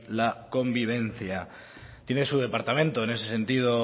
la convivencia tiene su departamento en ese sentido